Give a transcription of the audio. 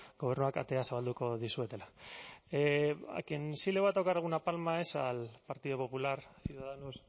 gobernuak ateak zabalduko dizuetela a quien sí le voy a tocar alguna palma es al partido popular ciudadanos